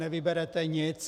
Nevyberete nic.